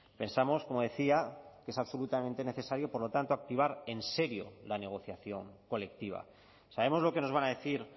pensamos como decía que es absolutamente necesario por lo tanto activar en serio la negociación colectiva sabemos lo que nos van a decir